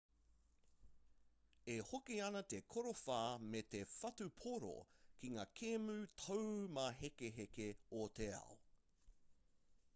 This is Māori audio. e hoki ana te korowha me te whutupōro ki ngā kēmu taumāhekeheke o te ao